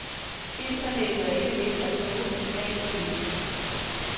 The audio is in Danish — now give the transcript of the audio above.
Internettet er ikke let at bruge for svagtseende.